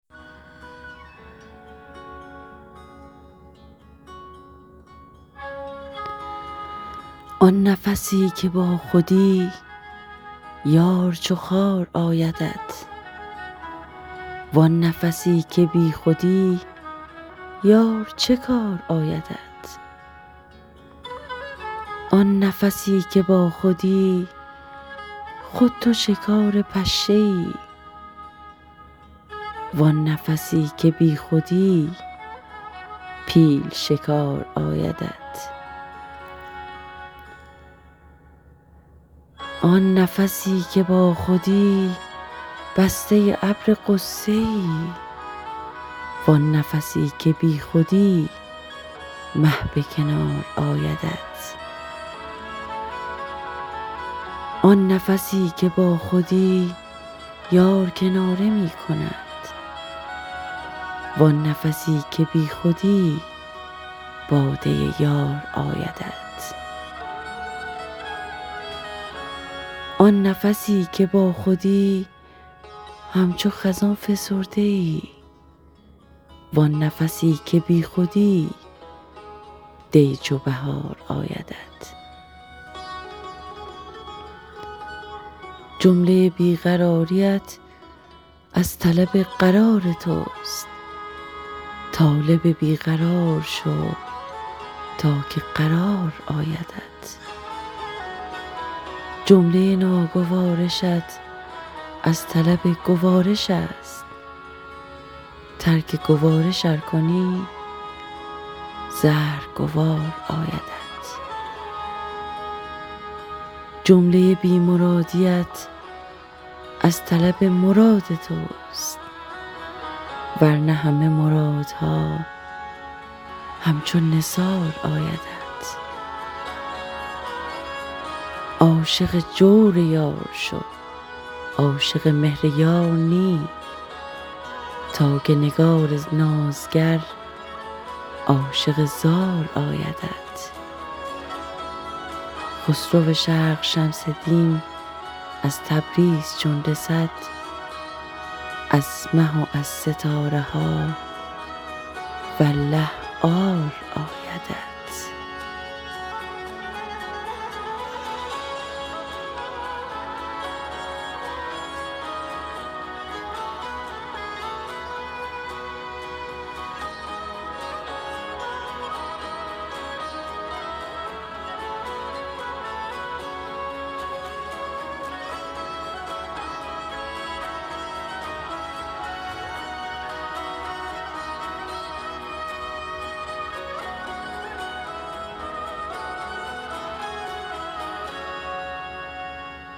آن نفسی که باخودی یار چو خار آیدت وان نفسی که بیخودی یار چه کار آیدت آن نفسی که باخودی خود تو شکار پشه ای وان نفسی که بیخودی پیل شکار آیدت آن نفسی که باخودی بسته ابر غصه ای وان نفسی که بیخودی مه به کنار آیدت آن نفسی که باخودی یار کناره می کند وان نفسی که بیخودی باده یار آیدت آن نفسی که باخودی همچو خزان فسرده ای وان نفسی که بیخودی دی چو بهار آیدت جمله بی قراریت از طلب قرار توست طالب بی قرار شو تا که قرار آیدت جمله ناگوارشت از طلب گوارش است ترک گوارش ار کنی زهر گوار آیدت جمله بی مرادیت از طلب مراد توست ور نه همه مرادها همچو نثار آیدت عاشق جور یار شو عاشق مهر یار نی تا که نگار نازگر عاشق زار آیدت خسرو شرق شمس دین از تبریز چون رسد از مه و از ستاره ها والله عار آیدت